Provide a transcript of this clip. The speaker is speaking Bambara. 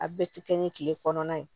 A bɛɛ ti kɛ ni tile kɔnɔna ye